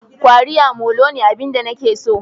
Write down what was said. Kwariya molo ne abin da nake so